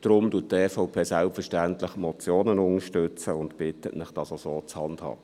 Deshalb unterstützt die EVP selbstverständlich die Motionen und bittet Sie, es auch so zu handhaben.